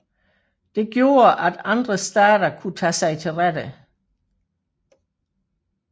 Det gjorde at andre stater kunne tage sig til rette